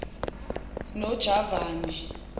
nojavane